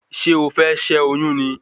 Ṣé o fẹ́ ṣé oyún ni